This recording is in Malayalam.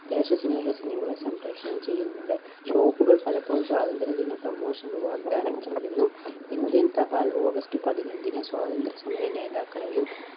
ദേശസ്നേഹ cinema കൾ സംപ്രേക്ഷണം ചെയ്യുന്നുണ്ട്. shop കൾ പലപ്പോഴും സ്വാതന്ത്ര്യ ദിന promotion കൾ വാഗ്ദാനം ചെയ്യുന്നു. ഇന്ത്യൻ തപാൽ August പതിനഞ്ചിന് സ്വാതന്ത്ര്യ സമര നേതാക്കളെയും